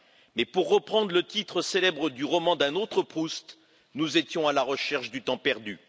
Et pour reprendre le titre célèbre du roman d'un autre Proust, nous étions à la recherche du temps perdu.